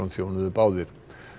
þjónuðu báðir